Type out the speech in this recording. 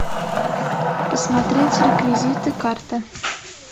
посмотреть реквизиты карты